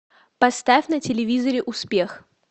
поставь на телевизоре успех